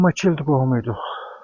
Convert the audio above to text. Amma ilk qohumu idik.